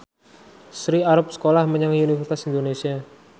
Sri arep sekolah menyang Universitas Indonesia